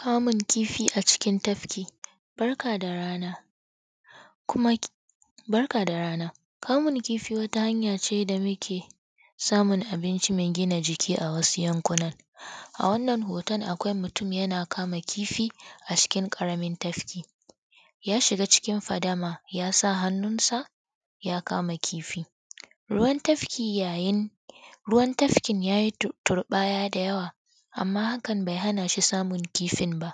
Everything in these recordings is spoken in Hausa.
Kamun kifi a cikin tafki, barka da rana. kamun kifi wata hanya ce da muke samun abinci mai gina jiki a wasu yankunan a wannan hoton yana kama kifi a cokin ƙaramin tafki ya shiga cikin fadama ya sa hannunsa ya kama ciki. Ruwan tafkin ya yi turɓaya da yawa amma hakan bai hana shi samun kifin ba.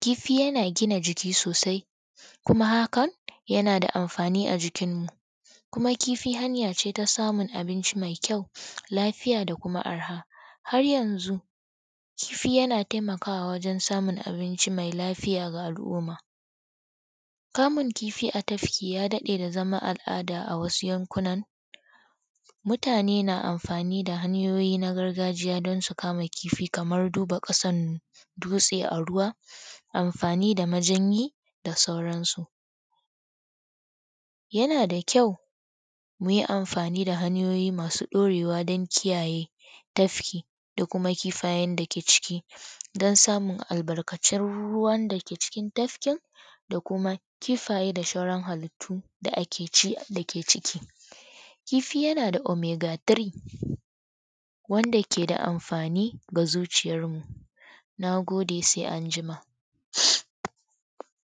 Kifi yana gina jiki sosai kuma hakan yana da amfani a jikinmu kuma kifi hanya ce ta samun abinci mai ƙyau lafiya da kuma arha. Har yanzu kifi yana taimakawa wajen samun abunci mai lafiya ga al'umma. Kamun kifi a tafki ya daɗe da zama al'ada a wasu yankunan mutane na amfani da hanyoyin gargajiya don su kama kifi kamar duba ƙasar dutse a ruwa, amfani da majanyi da sauransu. kuma kifi hanya ce ta samun abinci mai ƙyau lafiya da kuma arha. Har yanzu kifi yana taimakawa wajen samun abunci mai lafiya ga al'umma. Kamun kifi a tafki ya daɗe da zama al'ada a wasu yankunan mutane na amfani da hanyoyin gargajiya don su kama kifi kamar duba ƙasar dutse a ruwa, amfani da majanyi da sauransu.